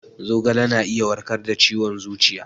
Zogale na iya warkar da ciwon zuciya